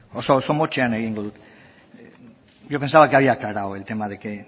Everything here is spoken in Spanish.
oso oso motzean egingo dut yo pensaba que había aclarado el tema de que